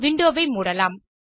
window ஐ மூடலாம்